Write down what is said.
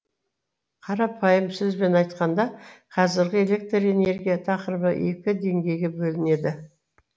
қарапайым сөзбен айтқанда қазіргі электр энергия тақырыбы екі деңгейге бөлінеді